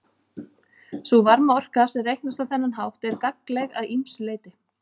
Sú varmaorka sem reiknast á þennan hátt er gagnleg að ýmsu leyti.